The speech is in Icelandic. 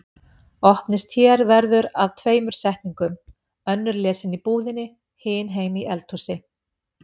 Opnist hér verður að tveimur setningum, önnur lesin í búðinni, hin heima í eldhúsi.